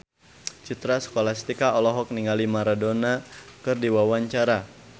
Citra Scholastika olohok ningali Maradona keur diwawancara